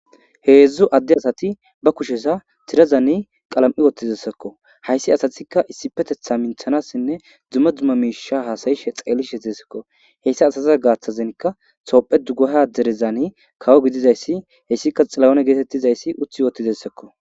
Heedzdzu adde asati ba kushesa tirazani qalam7i wottizessakko hayssi asatikka issipetetha minthanassinne dumma dumma miisha haasayishe xeelishe qesakko heyssa asatiza gaaththazenka thoophe dugaha derezani kawo gidizayssi heyssika xilahone geetettizayssi uthi woottidessakko.